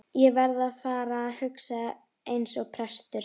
Ég verð að fara að hugsa eins og prestur.